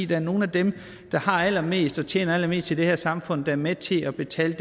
det er nogle af dem der har allermest og tjener allermest i det her samfund der er med til at betale